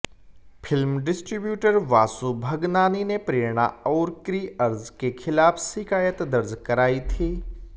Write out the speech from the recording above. film distributor Vashu Bhagnani ने प्रेरणा और KriArj के खिलाफ शिकायत दर्ज कराई थी